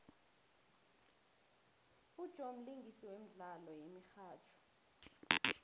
ujoe mlingisi womdlalo yemihatjho